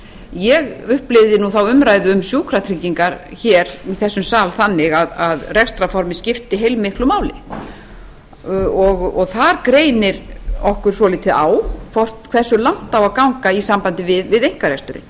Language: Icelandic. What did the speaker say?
ég upplifði þá umræðu um sjúkratryggingar hér í þessum sal þannig að rekstrarformið skipti heilmiklu máli og þar greinir okkur svolítið á það er hversu langt eigi að ganga í sambandi við einkareksturinn